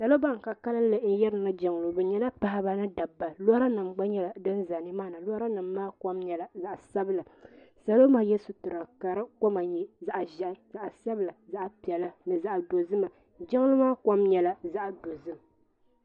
Salo ban ka kalli n yirina jiŋlini paɣaba ni dabba lora nima gba nyɛla di za nimaani lora nima kom nyɛla zaɣa sabila salo maa ye sitira di koma nyɛ zaɣa ʒehi zaɣa sabila zaɣa piɛla ni zaɣa dozima jiŋli maa kom nyɛla zaɣa dozim.